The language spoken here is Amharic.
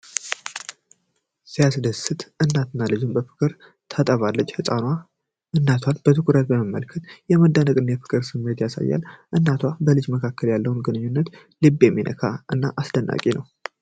ሲያስደስት! እናት ልጇን በፍቅር ታጠባለች። ህፃኗ እናቷን በትኩረት መመልከቷ የመደነቅና የፍቅር ስሜት ያሳያል። በእናትና በልጅ መካከል ያለው ግንኙነት ልብ የሚነካ እና አስደናቂ ነው።